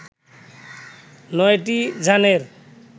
নয়টি যানের